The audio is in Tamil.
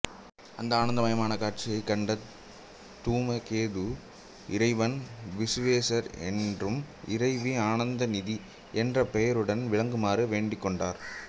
அந்த ஆனந்தமயமான காட்சியைக் கண்ட தூமகேது இறைவன் விசுவேசர் என்றும் இறைவி ஆனந்தநிதி என்ற பெயருடனும் விளங்கமாறு வேண்டிக் கொண்டார்